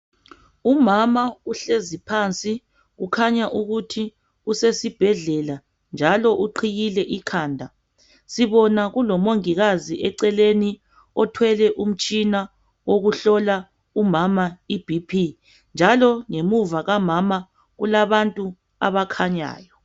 Umama uhlezi phansi kukhanya ukuthi usesibhedlela, njalo uqhiyile ikhanda. Sibona kulomongikazi eceleni othwele umtshina wokuhlola umama ibhiphi, njalo ngemuva kukamama kulabantu abakhanyayo.